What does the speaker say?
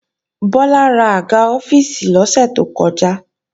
Bọ́lá rà àga ọ́fíìsì lọ́sẹ̀ tó kọjá